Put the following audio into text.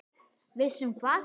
Viss um hvað?